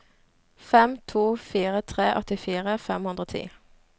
fem to fire tre åttifire fem hundre og ti